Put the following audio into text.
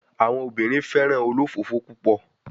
Awọn obinrin fẹran olofofo pupọ